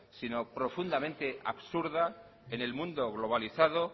sino profundamente absurda en el mundo globalizado